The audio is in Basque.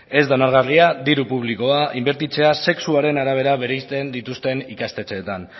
ez da onargarria diru publikoa inbertitzea sexuaren arabera bereizten dituzten ikastetxeetan